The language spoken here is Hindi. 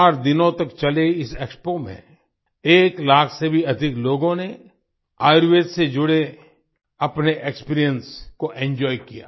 चार दिनों तक चले इस एक्सपो में एक लाख से भी अधिक लोगों ने आयुर्वेद से जुड़े अपने एक्सपीरियंस को एंजॉय किया